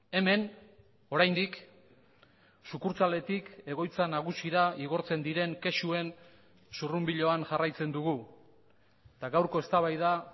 hemen oraindik sukurtsaletik egoitza nagusira igortzen diren kexuen zurrunbiloan jarraitzen dugu eta gaurko eztabaida